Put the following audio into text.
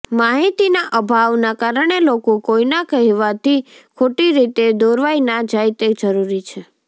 માહિતીના અભાવના કારણે લોકો કોઈના કહેવાથી ખોટીરીતે દોરવાઈ ના જાય તે જરૂરી છે